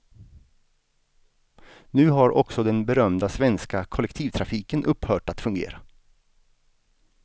Nu har också den berömda svenska kollektivtrafiken upphört att fungera.